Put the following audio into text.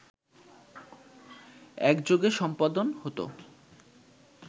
একযোগে সম্পাদন হতো